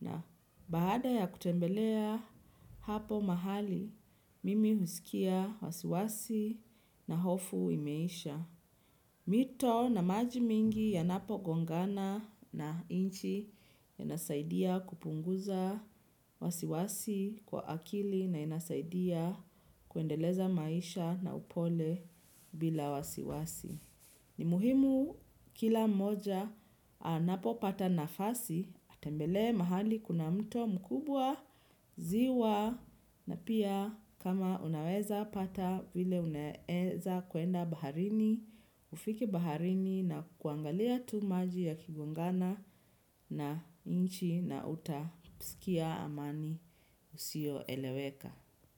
na baada ya kutembelea hapo mahali. Mimi husikia wasiwasi na hofu imeisha. Mito na maji mingi yanapo gongana na nchi yanasaidia kupunguza wasiwasi kwa akili na inasaidia kuendeleza maisha na upole bila wasiwasi. Ni muhimu kila mmoja anapopata nafasi atembelee mahali kuna mto mkubwa ziwa na pia kama unaweza pata vile unaeza kwenda baharini ufike baharini na kuangalia tu maji yakigongana na nchi na utasikia amani isiyoeleweka.